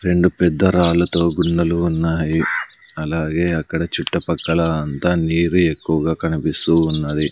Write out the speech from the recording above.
రెండు పెద్ద రాళ్లతో గున్నలు ఉన్నాయి అలాగే అక్కడ చుట్టుపక్కల అంతా నీరు ఎక్కువగా కనిపిస్తూ ఉన్నది.